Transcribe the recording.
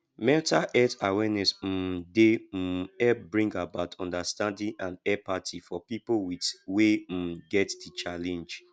mental health awareness um dey um help bring about understanding and empathy for pipo with wey um get di challenge